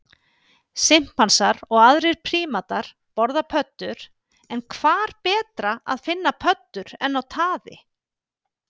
Simpansar og aðrir prímatar borða pöddur en hvar betra að finna pöddur en á taði?